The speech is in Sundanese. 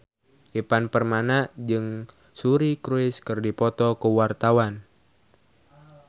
Ivan Permana jeung Suri Cruise keur dipoto ku wartawan